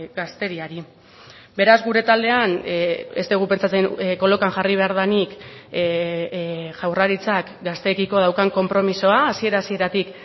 gazteriari beraz gure taldean ez dugu pentsatzen kolokan jarri behar denik jaurlaritzak gazteekiko daukan konpromisoa hasiera hasieratik